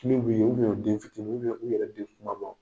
Min b'u ye u den fitini u yɛrɛ den kumabaw.